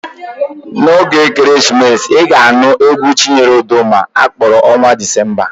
N'oge ekeresimesi, ị ga-anụ égwú Chinyere Udoma a kpọrọ Ọnwạ Dịzemba.